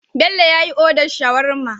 Bello yyi order shawarma